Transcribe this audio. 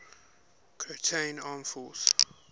croatian armed forces